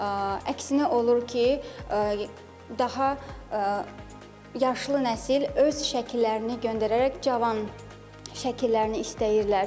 Əksinə olur ki, daha yaşlı nəsil öz şəkillərini göndərərək cavan şəkillərini istəyirlər.